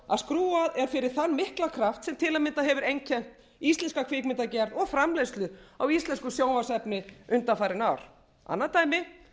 að skrúfað er fyrir þann mikla kraft sem til að mynda hefur einkennt íslenska kvikmyndagerð og framleiðslu á íslensku sjónvarpsefni undanfarin ár annað dæmi